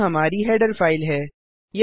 यह हमारी header file है